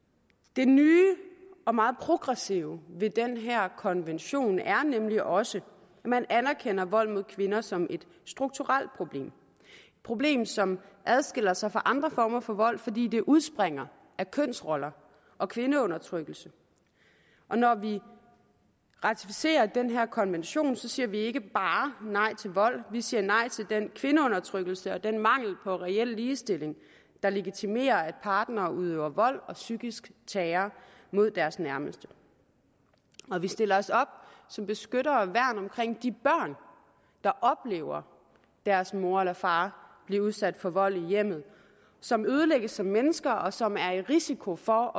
det nye og meget progressive ved den her konvention er nemlig også at man anerkender vold mod kvinder som et strukturelt problem et problem som adskiller sig fra andre former for vold fordi det udspringer af kønsroller og kvindeundertrykkelse og når vi ratificerer den her konvention siger vi ikke bare nej til vold vi siger nej til den kvindeundertrykkelse og den mangel på reel ligestilling der legitimerer at partnere udøver vold og psykisk terror mod deres nærmeste vi stiller os op som beskyttere og værn omkring de børn der oplever deres mor eller far blive udsat for vold i hjemmet som ødelægges som mennesker og som er i risiko for